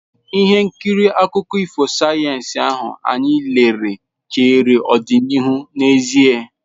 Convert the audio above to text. Ihe nkiri akụkọ ifo sayensị ahụ anyị lere chere ọdịnihu n'ezie.